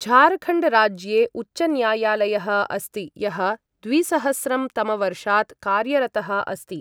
झारखण्ड राज्ये उच्चन्यायालयः अस्ति यः द्विसहस्रं तमवर्षात् कार्यरतः अस्ति।